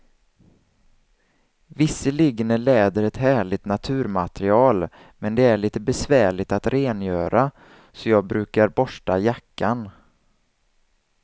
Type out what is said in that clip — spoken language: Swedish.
Visserligen är läder ett härligt naturmaterial, men det är lite besvärligt att rengöra, så jag brukar borsta jackan.